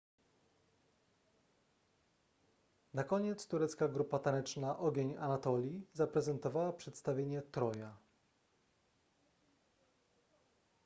na koniec turecka grupa taneczna ogień anatolii zaprezentowała przedstawienie troja